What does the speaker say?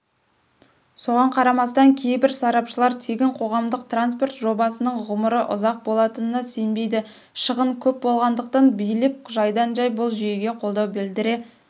соған қарамастан кейбір сарапшылар тегін қоғамдық транспорт жобасының ғұмыры ұзақ болатынына сенбейді шығын көп болатындықтан билік жайдан-жай бұл жүйеге қолдау білдіре